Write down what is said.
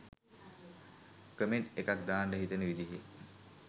comment එකක් දාන්ට හිතෙන විදිහේ